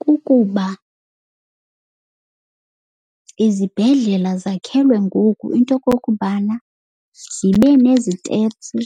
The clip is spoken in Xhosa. Kukuba izibhedlela zakhelwe ngoku into okokubana zibe nezitepsi,